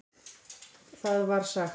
Þar var sagt